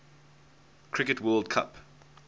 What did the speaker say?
cricket world cup